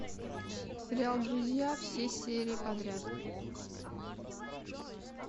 сериал друзья все серии подряд